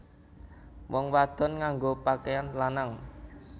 Wong wadon nganggo pakeyan lanang